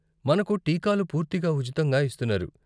మనకు టీకాలు పూర్తిగా ఉచితంగా ఇస్తున్నారు.